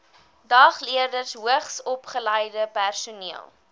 dagleerders hoogsopgeleide personeel